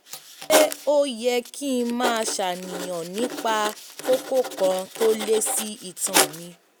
ṣé ó yẹ kí n máa ṣàníyàn nípa kókó kan tó lé sí itan mi?